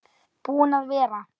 Búinn að vera.